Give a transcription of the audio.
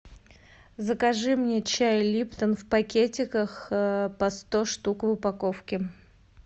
закажи мне чай липтон в пакетиках по сто штук в упаковке